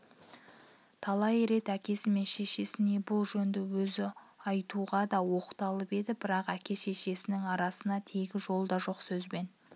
талай рет әкесі мен шешесіне бұл жөнді өзі айтуғада оқталып еді бірақ әке-шешесінің арасына тегі жолда жоқ сөзбен